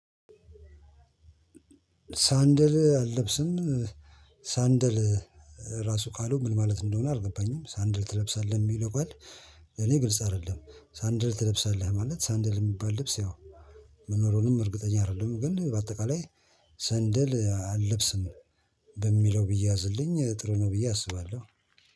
ሳንደል አልለብስም። ሳንደል ራሱ ካልሆንኩ ምን ማለት እንደሆነ አደረገባኝም ሳንድል ትለብሳለህ የሚለው ቃል ለኔ ግልጽ አይደለም። ሳንድል ትለብሳለህ ማለት ሳንድል የሚባል ልብስ ያው መኖሩንም እርግጠኛ አይደለም። ግን በአጠቃላይ ሰንደል አልለብስም በሚለው ብዬ አዝልኝ ጥሩ ነው ብዬ አስባለሁ።